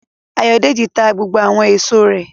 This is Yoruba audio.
Ayọ̀dèjì ta gbogbo àwọn èso rẹ̀